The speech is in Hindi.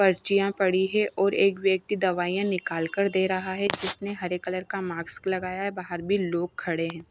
पर्चियां पड़ी है और एक व्यक्ति दवाइयां निकाल कर दे रहा है जिसने हरे कलर का माक्स लगाया है। बाहर भी लोग खड़े हैं।